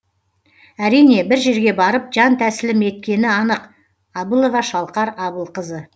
әрине бір жерге барып жан тәсілім еткені анық абылова шалқар абылқызы